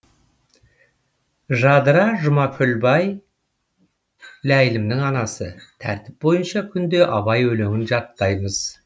жадыра жұмакүлбай ләйлімнің анасы тәртіп бойынша күнде абай өлеңін жаттаймыз